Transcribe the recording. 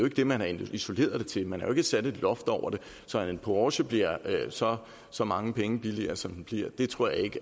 ikke det man har isoleret det til man har jo ikke sat et loft over det så at en porsche bliver så så mange penge billigere som den bliver tror jeg ikke